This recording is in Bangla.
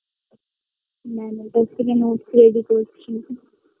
Ma'am -এর কাছ থেকে note ready করছি